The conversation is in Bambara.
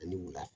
Ani wula